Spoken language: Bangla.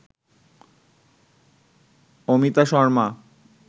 অমিতা শর্মা